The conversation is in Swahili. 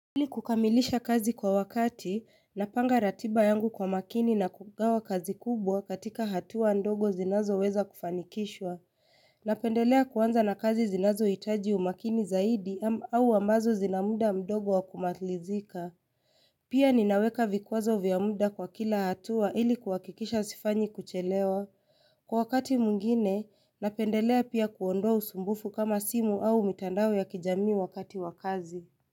Ili kukamilisha kazi kwa wakati, napanga ratiba yangu kwa makini na kugawa kazi kubwa katika hatua ndogo zinazo weza kufanikishwa. Napendelea kuanza na kazi zinazo hitaji umakini zaidi au ambazo zinamda mdogo wa kumalizika. Pia ninaweka vikwazo vya muda kwa kila hatua ili kuakikisha sifanyi kuchelewa. Kwa wakati mwingine, napendelea pia kuondoa usumbufu kama simu au mitandao ya kijamii wakati wakazi.